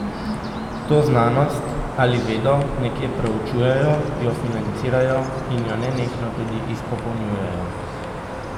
To znanost ali vedo nekje preučujejo, jo financirajo in jo nenehno tudi izpopolnjujejo.